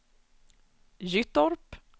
Gyttorp